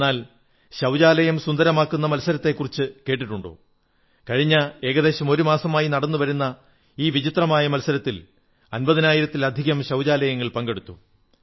എന്നാൽ ശൌചാലയം സുന്ദരമാക്കുന്ന മത്സരത്തെക്കുറിച്ചു കേട്ടിട്ടുണ്ടോ കഴിഞ്ഞ ഏകദേശം ഒരുമാസമായി നടന്നു വരുന്ന ഈ വിചിത്രമായ മത്സരത്തിൽ അമ്പതിനായിരത്തിലധികം ശൌചാലയങ്ങൾ പങ്കെടുത്തു